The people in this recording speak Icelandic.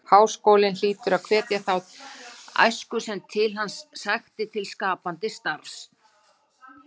Háskólinn hlyti að hvetja þá æsku sem til hans sækti til skapandi starfs.